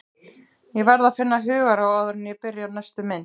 Ég verð að finna hugarró áður en ég byrja á næstu mynd.